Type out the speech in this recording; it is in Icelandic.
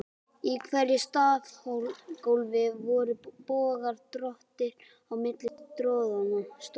Í hverju stafgólfi voru bogar, dróttir, á milli stoðanna.